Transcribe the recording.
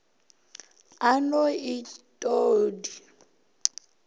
a no et o di